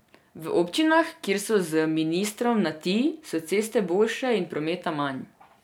V občinah, kjer so z ministrom na ti, so ceste boljše in je prometa manj.